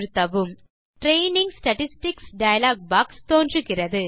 training statistics dialog box தோன்றுகிறது